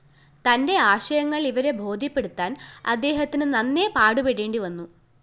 തന്റെ ആശയങ്ങള്‍ ഇവരെ ബോധ്യപ്പെടുത്താന്‍ അദേഹത്തിന് നന്നേ പാടുപെടേണ്ടിവന്നു